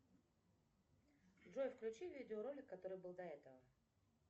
джой включи видеоролик который был до этого